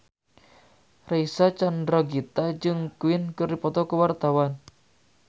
Reysa Chandragitta jeung Queen keur dipoto ku wartawan